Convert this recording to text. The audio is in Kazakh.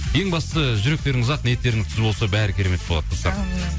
ең бастысы жүректеріңіз ақ ниеттеріңіз түзу болса бәрі керемет болады достар әумин